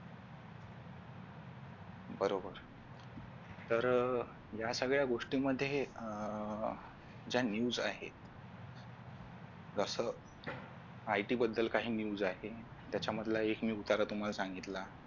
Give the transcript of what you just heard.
बरोबर तर या सगळ्या गोष्टींमध्ये ज्या news आहेत जस IT बद्दल काही news आहेत त्याच्यामधला एक मी उतारा तुम्हाला सांगितला